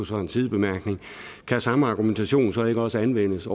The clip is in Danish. så en sidebemærkning kan samme argumentation så ikke også anvendes